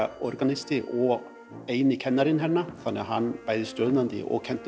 organisti og eini kennarinn hérna þannig hann bæði stjórnaði og kenndi